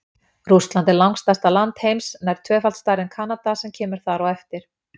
Rússland er langstærsta land heims, nær tvöfalt stærra en Kanada sem kemur þar á eftir.